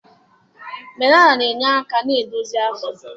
Banana na-enye aka na-idozi afọ